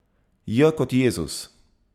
J kot Jezus.